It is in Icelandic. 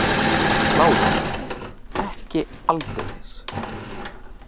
LÁRUS: Ekki aldeilis!